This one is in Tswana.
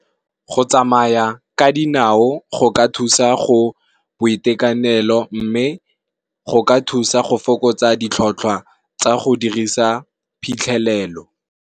Go tsamaya ka dinao go ka thusa ka boitekanelo. Mme, go ka thusa go fokotsa ditlhotlhwa tsa go dirisa phitlhelelo.